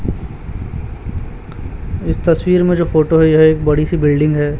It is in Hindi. इस तस्वीर में जो फोटो है यह एक बड़ी सी बिल्डिंग हैं।